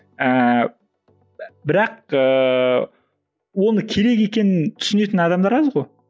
ііі бірақ ііі оның керек екенін түсінетін адамдар аз ғой